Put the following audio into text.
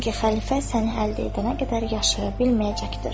Çünki xəlifə sən əldə edənə qədər yaşaya bilməyəcəkdir.